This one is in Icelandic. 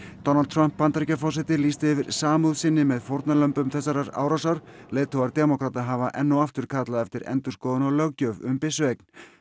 Donald Trump Bandaríkjaforseti lýsti yfir samúð sinni með fórnarlömbum þessarar árásar leiðtogar demókrata hafa enn og aftur kallað eftir endurskoðun á löggjöf um byssueign